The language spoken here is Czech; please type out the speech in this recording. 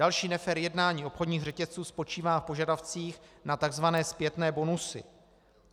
Další nefér jednání obchodních řetězců spočívá v požadavcích na tzv. zpětné bonusy.